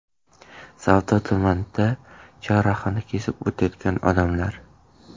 Savdo tumanida chorrahani kesib o‘tayotgan odamlar.